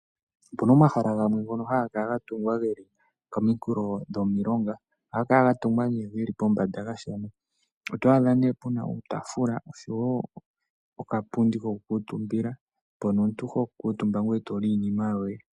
Opuna omahala gamwe ngono haga kala ga tungwa komikulo dhomilonga ohaga kala ga tungwa oto adha nee puna uutafula oshowo uupundi woku kuutumbila mobo omuntu ho kuutumba eto li iinima yoye.